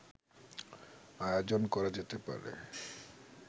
আয়োজন করা যেতে পারে